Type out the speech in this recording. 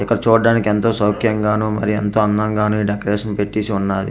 ఇక్కడ చూడ్డానికి ఎంతో సౌఖ్యంగాను మరియు ఎంతో అందంగాను ఈ డెకరేషన్ పెట్టేసి ఉన్నాది.